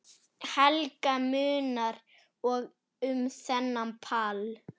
Helga: Munar um þennan pall?